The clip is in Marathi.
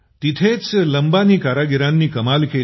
तिथंच लंबानी कारागिरांनी कमाल केली